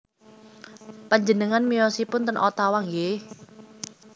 Panjenengan miyosipun ten Ottawa nggih